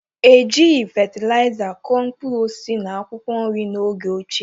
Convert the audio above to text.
E jighị fatịlaịza kụ mkpụrụ osisi na akwụkwọ nri n'oge ochie